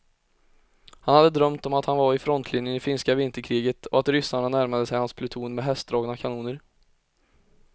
Han hade drömt om att han var i frontlinjen i finska vinterkriget och att ryssarna närmade sig hans pluton med hästdragna kanoner.